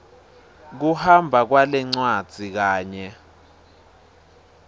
kuhamba kwalencwadzi kanye